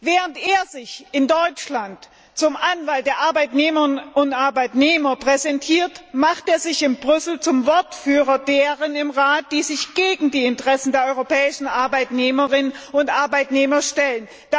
Während er sich in Deutschland als Anwalt der Arbeitnehmerinnen und Arbeitnehmer präsentiert, macht er sich in Brüssel zum Wortführer derer im Rat, die sich gegen die Interessen der europäischen Arbeitnehmerinnen und Arbeitnehmer stellen.